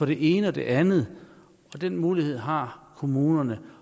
det ene og det andet og den mulighed har kommunerne